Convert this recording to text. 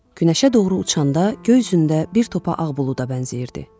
Günəşə doğru uçanda göy üzündə bir topa ağ buluda bənzəyirdi.